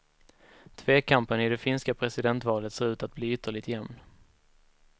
Tvekampen i det finska presidentvalet ser ut att bli ytterligt jämn.